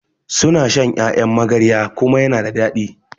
suna shan Ƴaƴan magarya kuma yana da dadi